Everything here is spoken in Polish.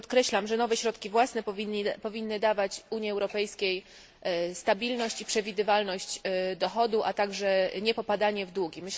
Także podkreślam, że nowe środki własne powinny dawać Unii Europejskiej stabilność i przewidywalność dochodu, a także niepopadanie w długi.